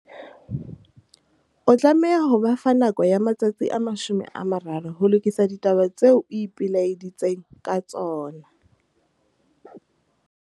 O tlameha ho ba fa nako ya matsatsi a 30 ho lokisa ditaba tseo o ipelaeditseng ka tsona.